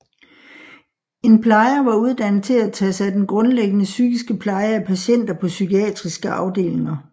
En plejer var uddannet til at tage sig af den grundlæggende psykiske pleje af patienter på psykiatriske afdelinger